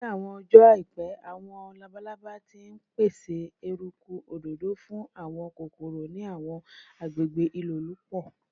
Ni awọn ọjọ aipẹ, awọn labalaba ti n pese eruku adodo fun awọn kokoro ni awọn agbegbe ilolupo